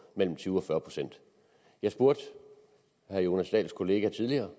mellem tyve og fyrre procent jeg spurgte herre jonas dahls kollega tidligere